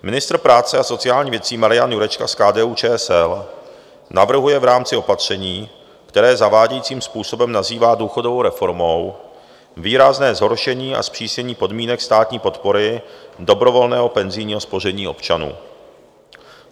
Ministr práce a sociálních věcí Marian Jurečka z KDU-ČSL navrhuje v rámci opatření, které zavádějícím způsobem nazývá důchodovou reformou, výrazné zhoršení a zpřísnění podmínek státní podpory dobrovolného penzijního spoření občanů.